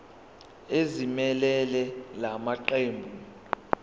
ezimelele la maqembu